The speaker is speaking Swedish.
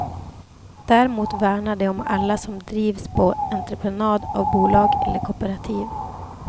Däremot värnar de om alla som drivs på entreprenad av bolag eller kooperativ.